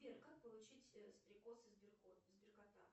сбер как получить стрекоз и сберкота